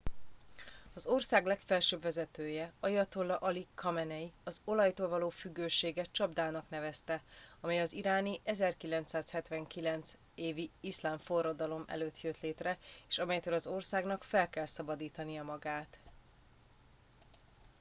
az ország legfelsőbb vezetője ayatollah ali khamenei az olajtól való függőséget csapdának nevezte amely az iráni 1979. évi iszlám forradalom előtt jött létre és amelytől az országnak fel kell szabadítania magát